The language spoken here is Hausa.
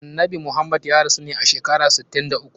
Annabi Muhammad ya rasu ne a shekara sittin da uku.